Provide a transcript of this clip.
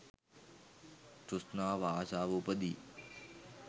තෘෂ්ණාව, ආශාව උපදී.